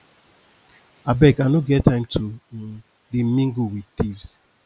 abeg i no get time to um dey mingle with thieves